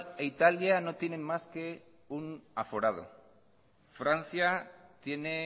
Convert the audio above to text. e italia no tienen más que un aforado francia tiene